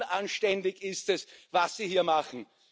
Unanständig ist es, was Sie hier machen.